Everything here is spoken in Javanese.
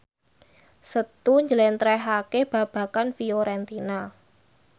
Setu njlentrehake babagan Fiorentina